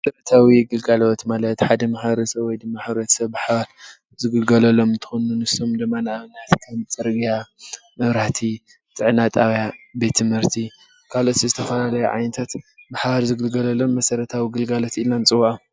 መሰረታዊ ግልጋሎት ማለት ሓደ ማሕበረሰብ ወይድማ ሕብረተሰብ ብሓባር ዝግልገለሎም እንትኾን ፤ ንሶም ድማ፡-ንአብነት ድማ ፅርግያ፣ መብራህቲ፣ ጥዕና ጣብያ፣ ቤት ትምህርቲ ካልኦት ዝተፈላለዩ ዓይነታት ብሓባር ዝግልገለሎም መሰረታዊ ግልጋሎት ኢልና ንፅውዖም፡፡